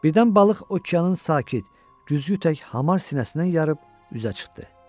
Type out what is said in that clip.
Birdən balıq okeanın sakit, cüryü tək hamar sinəsindən yarıb üzə çıxdı.